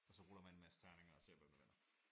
Og så ruller man en masse terninger og ser hvem der vinder